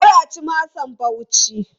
Kar a ci masa Bauchi!